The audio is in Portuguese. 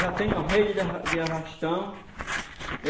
já tem uma rede de arra de arrastão.